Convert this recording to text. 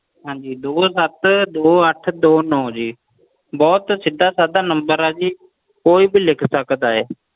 ਹਾਂਜੀ ਦੋ ਸੱਤ ਦੋ ਅੱਠ ਦੋ ਨੋ ਜੀ ਬਹੁਤ ਸਿੱਧਾ ਸਾਦਾ number ਆ ਜੀ ਕੋਈ ਵੀ ਲਿਖ ਸਕਦਾ ਆ